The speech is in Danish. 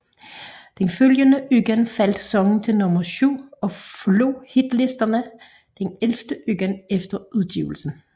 Den følgende uge faldt sangen til nummer syv og forladt hitlisterne den ellevte uge efter udgivelsen